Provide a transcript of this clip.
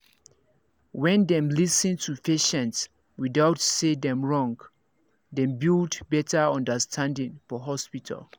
when dem lis ten to patient without talk say dem wrong dem build better understanding for hospital